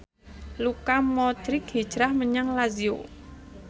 Luka Modric hijrah menyang Lazio